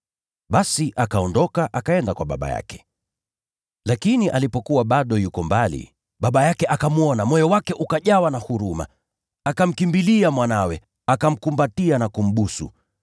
Basi akaondoka, akaenda kwa baba yake. “Lakini alipokuwa bado yuko mbali, baba yake akamwona, moyo wake ukajawa na huruma. Akamkimbilia mwanawe, akamkumbatia na kumbusu.